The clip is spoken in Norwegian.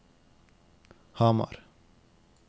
Hamar